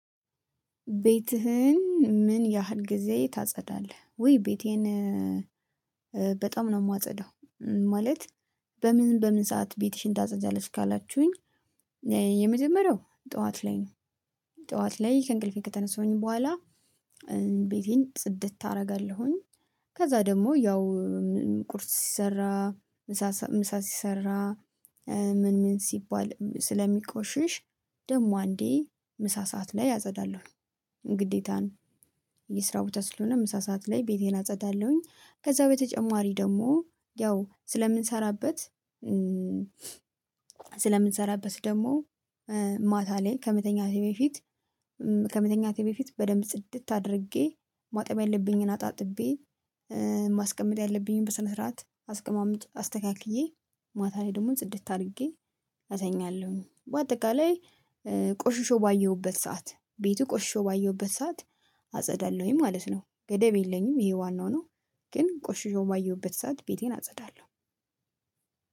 ቤትህን ምን ያህል ጊዜ ታጸዳለህ? ውይ ቤቴን በጣም ነው የማጸዳው። ማለት በምን በምን ሰዓት ቤትሽን ታጸዣለች ካላችሁኝ? የመጀመሪያው ጠዋት ላይ ነው። ጠዋት ላይ ከእንቅልፌ ከተነሳሁኝ በኋላ ቤቴን ጽድት አደርጋለሁኝ። ከዛ ደግሞ ያው ቁርስ ሲሰራ ምሳ ምሳ ሲሰራ ምን ምን ሲባል ስለሚቆሽሽ ደግሞ አንዴ ምሳ ሰዓት ላይ አጸዳለሁ። ግዴታ ነው የስራ ቦታ ስለሆነ ምሳ ሰዓት ላይ ቤቴን አጸዳለሁኝ። ከዛ በተጨማሪ ደግሞ ያው ስለምንሰራበት። ስለምንሰራበት ደግሞ ማታ ላይ ከመተኛቴ በፊት። ከመተኛቴ በፊት በደንብ ጽድት አድርጌ ማጠብ ያለብኝን አጣጥቤ ማስቀመጥ ያለብኝን በስነ ስርዓት አስቀማምጥ አስተካክዬ። ማታ ላይ ደግሞ ጽድት አድርጌ እተኛለሁኝ። በአጠቃላይ ቆሽሾ ባየሁበት ሰዓት ቤቱ ቆሽሾ ባየሁበት ሰዓት አጸዳለሁኝ ማለት ነው። ገደብ የለኝም። ይሄ ዋናው ነው። ግን ቆሽሾ ባየሁበት ሰዓት ቤቴን አጸዳለሁ።